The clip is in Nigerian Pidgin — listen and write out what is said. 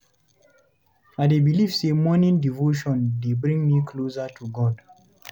I dey believe say morning devotion dey bring me closer to God.